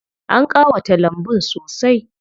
An ƙawata lambun sosai.